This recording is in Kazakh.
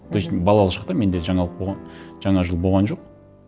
мхм то есть балалық шақта менде жаңа жыл болған жоқ